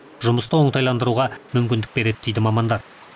жұмысты оңтайландыруға мүмкіндік береді дейді мамандар